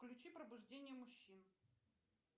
включи пробуждение мужчин